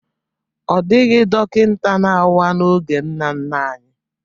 Ọ dịghị dọkịta na-awa n'oge nna nna anyị